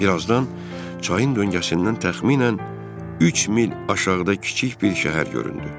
Bir azdan çayın döngəsindən təxminən üç mil aşağıda kiçik bir şəhər göründü.